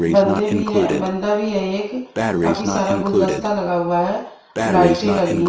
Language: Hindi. बंदे भी हैं बंदा भी है एक काफी सारा गुलदस्ता लगा हुआ है लाइटें लगी--